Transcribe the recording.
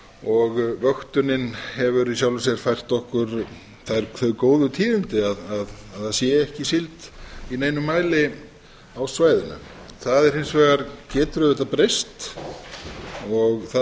sér vöktunin hefur í sjálfu sér fært okkur þau góðu tíðindi að það sé ekki síld í neinum mæli á svæðinu það hins vegar getur auðvitað breyst það